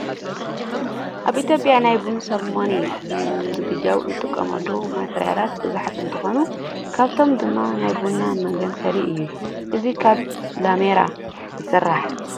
ኣብ ኢትዮጵያ ናይ ቡን ሰርሞኒ ንምዝግጃው እንጥቀመሎም ማቴርያላት ብዙሓት እንትኾኑ ካብኣቶም ድማ ናይ ቡና መጋናፈሊ እዩ። እዚ ካብ ላሜራ ይስራሕ።